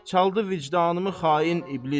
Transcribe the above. Çaldı vicdanımı xain iblis.